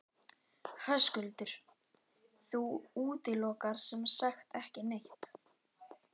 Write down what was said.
Höskuldur: Þú útilokar sem sagt ekki neitt?